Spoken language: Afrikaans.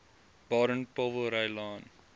baden powellrylaan